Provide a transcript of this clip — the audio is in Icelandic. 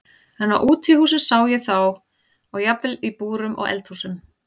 En á útihúsum sá ég þá og jafnvel í búrum og eldhúsum.